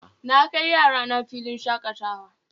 Na kai yarana filin shakatawa